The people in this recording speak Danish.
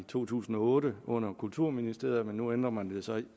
to tusind og otte lagt under kulturministeriet men nu ændrer man det så